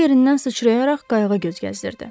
O yerindən sıçrayaraq qayıqda göz gəzdirdi.